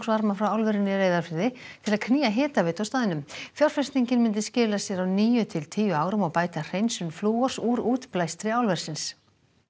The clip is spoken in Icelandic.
afgangsvarma frá álverinu í Reyðarfirði til að knýja hitaveitu á staðnum fjárfestingin myndi skila sér á níu til tíu árum og bæta hreinsun flúors úr útbæstri álversins